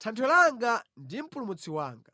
Thanthwe langa ndi Mpulumutsi wanga.